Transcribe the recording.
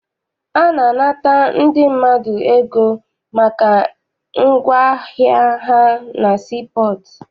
A na-anata ndị mmadụ ego maka ngwaahịa ha na sii pọọtụ.